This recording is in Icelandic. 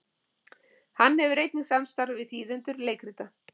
hann hefur einnig samstarf við þýðendur leikrita